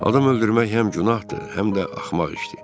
Adam öldürmək həm günahdır, həm də axmaq işdir.